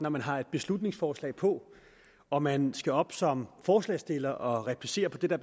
når man har et beslutningsforslag på og man skal op som forslagsstiller og replicere på det der